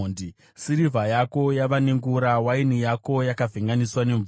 Sirivha yako yava nengura, waini yako yakavhenganiswa nemvura.